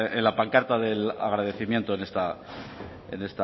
en la pancarta del agradecimiento